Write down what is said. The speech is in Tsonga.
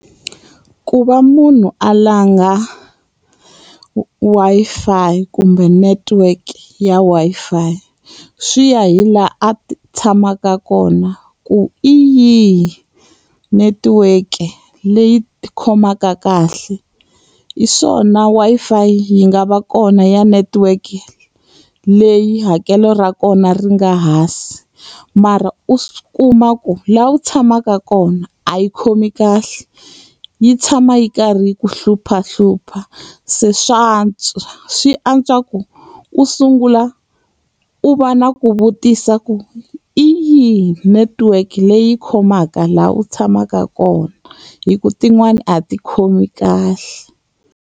Ku va munhu a langha Wi-Fi kumbe network ya Wi-Fi, swi ya hi laha a tshamaka kona ku hi yihi netiweke leyi khomaka kahle. Hi swona Wi-Fi yi nga va kona ya network leyi hakelo ra kona ri nga hansi, mara u swi kuma ku laha u tshamaka kona a yi khomi kahle, yi tshama yi karhi yi ku hluphahlupha. Se swa swi antswa ku, u sungula u va na ku vutisa ku hi yihi network leyi khomaka laha u tshamaka kona hikuva tin'wani a ti khomi kahle.